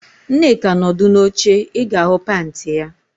Nneka nọdụ n'oche, ị ga-ahụ panti ya